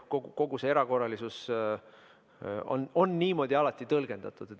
Kogu seda erakorralisust on alati niimoodi tõlgendatud.